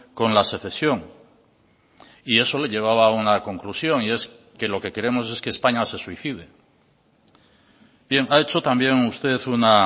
con la secesión y eso le llevaba a una conclusión y es que lo que queremos es que españa se suicide bien ha hecho también usted una